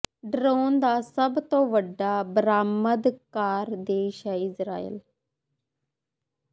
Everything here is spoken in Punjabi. ਡਰੋਨ ਦਾ ਸਭ ਤੋਂ ਵੱਡਾ ਬਰਾਮਦਕਾਰ ਦੇਸ਼ ਹੈ ਇਜ਼ਰਾਈਲ